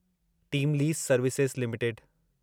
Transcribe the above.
team lease Services limited